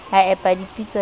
a epa pitso ya ba